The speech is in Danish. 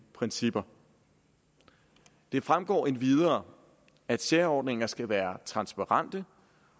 principper det fremgår endvidere at særordninger skal være transparente